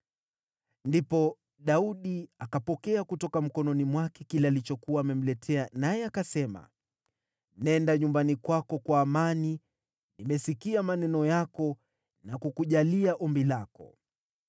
Ndipo Daudi akapokea kutoka mkononi mwake kile alichokuwa amemletea, naye akasema, “Nenda nyumbani kwako kwa amani; nimesikia maneno yako na kukujalia ombi lako.”